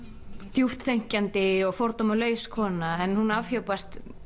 djúpt þenkjandi og fordómalaus kona en hún afhjúpast